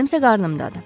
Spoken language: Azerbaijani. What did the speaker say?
Mənim isə qarnımdadır.